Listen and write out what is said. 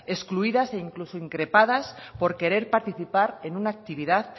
excluidas e incluso increpadas por querer participar en una actividad